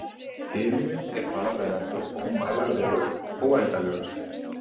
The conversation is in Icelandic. Himinninn er þar af leiðandi ómælanlegur, óendanlegur.